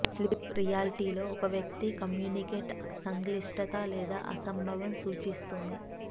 sleep reality లో ఒక వ్యక్తి కమ్యూనికేట్ సంక్లిష్టత లేదా అసంభవం సూచిస్తుంది